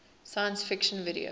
science fiction video